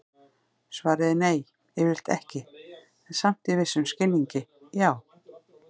Svarið er nei, yfirleitt ekki, en samt í vissum skilningi já!